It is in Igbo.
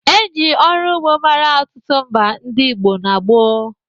E ji ọru ugbo mara ọtụtụ mba ndị Igbo n'gboo